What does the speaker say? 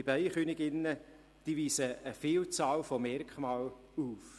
Bienenköniginnen weisen eine Vielzahl von Merkmalen auf.